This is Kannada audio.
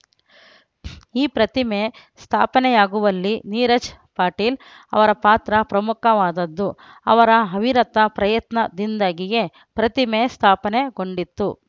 ಈ ಪ್ರತಿಮೆ ಸ್ಥಾಪನೆಯಾಗುವಲ್ಲಿ ನೀರಜ್‌ ಪಾಟೀಲ್‌ ಅವರ ಪಾತ್ರ ಪ್ರಮುಖವಾದದ್ದು ಅವರ ಅವಿರತ ಪ್ರಯತ್ನದಿಂದಾಗಿಯೇ ಪ್ರತಿಮೆ ಸ್ಥಾಪನೆಗೊಂಡಿತ್ತು